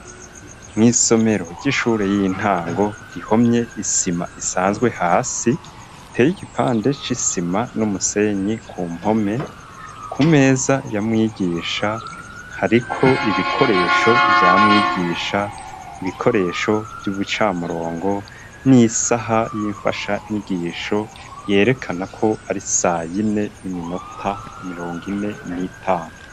Mw'isomero ry'ishure y'intango rihomye isima isanzwe hasi teye igipande c'isima n'umusenyi ku mpome ku meza yamwigisha hariko ibikoresho vya mwigisha ibikoresho vy'ubucamurongo n'isaha y'imfashe a nyigisho yerekana ko ari saya ine n'iminota mirongo ine n'itanu.